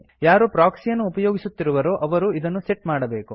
ಯಾರು ಪ್ರೊಕ್ಸಿಯನ್ನು ಉಪಯೋಗಿಸುತ್ತಿರುವಿರೋ ಅವರು ಇದನ್ನು ಸೆಟ್ ಮಾಡಬೇಕು